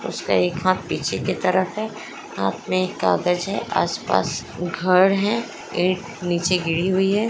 उसका एक हाथ पीछे की तरफ है हाथ मे एक कागज है आसपास घर है ईंट नीचे गिरी हुई है।